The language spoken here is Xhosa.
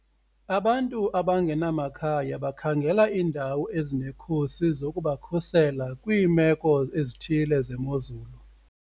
Abantu abangenamakhaya bakhangela iindawo ezinekhusi zokubakhusela kwiimeko ezithile zemozulu.